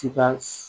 Ti ka